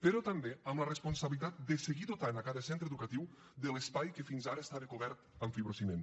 però també amb la responsabilitat de seguir dotant cada centre educatiu de l’espai que fins ara estava cobert amb fibrociment